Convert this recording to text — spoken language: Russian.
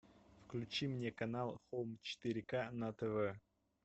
включи мне канал хоум четыре к на тв